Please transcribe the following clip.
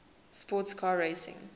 sports car racing